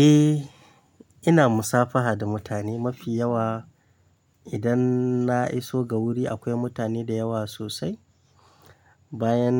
Eh, ina musafaha da mutane mafi yawa. Idan na iso ga wuri akwai mutane da yawa sosai, bayan